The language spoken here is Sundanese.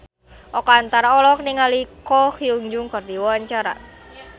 Oka Antara olohok ningali Ko Hyun Jung keur diwawancara